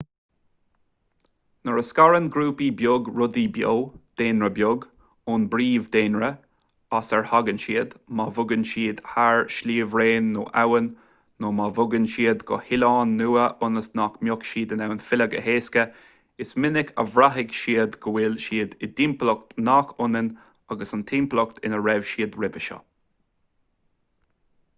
nuair a scarann ​​grúpa beag rudaí beo daonra beag ón bpríomh-dhaonra as ar tháinig siad má bhogann siad thar shliabhraon nó abhainn nó má bhogann siad go hoileán nua ionas nach mbeidh siad in ann filleadh go héasca is minic a bhraithfidh siad go bhfuil siad i dtimpeallacht nach ionann agus an timpeallacht ina raibh siad roimhe seo